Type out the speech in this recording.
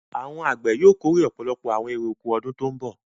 Àwọn àgbẹ̀ yóò kórè ọ̀pọ̀lọpọ̀ àwọn èrè-oko ọdún tó ń bọ̀.